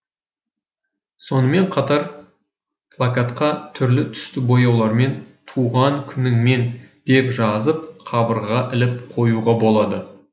сонымен қатар плакатқа түрлі түсті бояулармен туған күніңмен деп жазып қабырғаға іліп қоюға болады